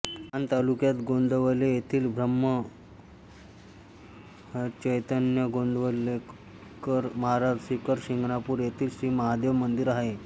माण तालुक्यात गोंदवले येथील श्रीब्रह्मचैतन्य गोंदवलेकर महाराज शिखर शिंगणापूर येथील श्री महादेव मंदिर आहे